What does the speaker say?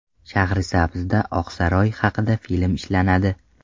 Shahrisabzda Oqsaroy haqida film ishlanadi.